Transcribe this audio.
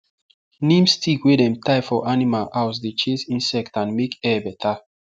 neem stick wey dem tie for animal house dey chase insect and make air better